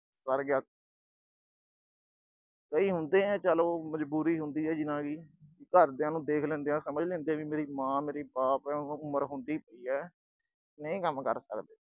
ਕਈ ਹੁੰਦੇ ਆ, ਚਲ ਉਹ ਮਜ਼ਬੂਰੀ ਹੁੰਦੀ ਆ ਜਿਨ੍ਹਾਂ ਦੀ, ਘਰਦਿਆਂ ਨੂੰ ਦੇਖ ਲੈਂਦੇ ਆ ਸਮਝ ਲੈਂਦੇ ਆ, ਵੀ ਮੇਰੀ ਮਾਂ, ਮੇਰਾ ਬਾਪ, ਉਮਰ ਹੁੰਦੀ ਪਈ ਆ। ਨਹੀਂ ਕੰਮ ਕਰ ਸਕਦੇ।